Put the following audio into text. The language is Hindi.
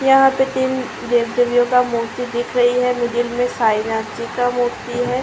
यहाँ पे तीन देवी- देविओं का मूर्ति दिख रही है। मिडिल में सांई नाथ जी का मूर्ति है।